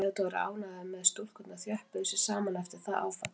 Theodór er ánægður með að stúlkurnar þjöppuðu sig saman eftir það áfall.